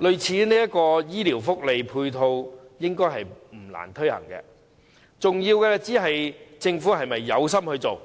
類似這種醫療福利配套應該不難推行，重要的只是政府是否有心推行。